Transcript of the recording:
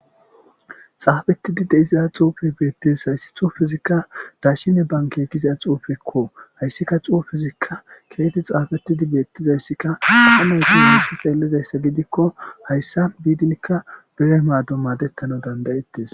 xaafettidi de'iza xuufe beettes hayssi thu fizikka daashine banke giza xuufekko hayssika xuu fizikka keeti xaafetidi beettizayssikka samey giasi xeellizayssa gidikko hayssa biidinkka bire maaddo maadettana dandayettes